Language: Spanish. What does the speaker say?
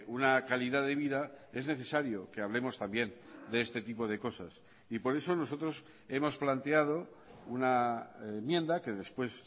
una calidad de vida es necesario que hablemos también de este tipo de cosas y por eso nosotros hemos planteado una enmienda que después